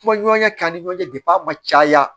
Kuma ɲɔgɔnya kɛ an ni ɲɔgɔn cɛ a ma caya